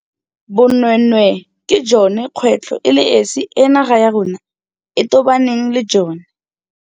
Bonweenwee ke jone kgwetlho e le esi e naga ya rona e tobaneng le jone.